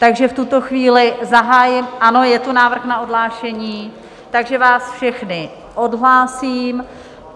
Takže v tuto chvíli zahájím... ano, je tu návrh na odhlášení, takže vás všechny odhlásím.